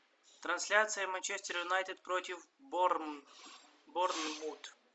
трансляция манчестер юнайтед против борнмут